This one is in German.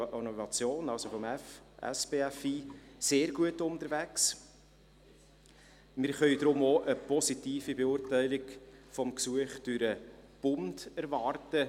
Deshalb können wir denn auch eine positive Beurteilung des Gesuchs durch den Bund erwarten.